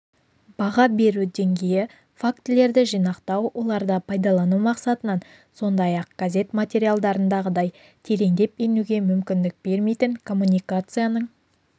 баға беру деңгейі фактілерді жинақтау оларды пайдалану мақсатынан сондай-ақ газет материалдарындағыдай тереңдеп енуге мүмкіндік бермейтін коммуникацияның